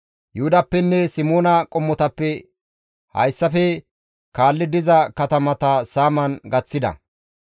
Yuhudappenne Simoona qommotappe hayssafe kaalli diza katamata saaman gaththida.